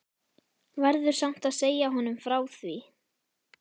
Verður samt að segja honum frá því.